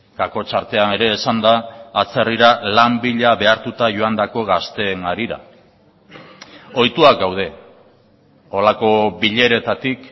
kakotx artean ere esan da atzerrira lan bila behartuta joandako gazteen harira ohituak gaude horrelako bileretatik